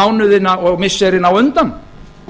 mánuðina og missirin á undan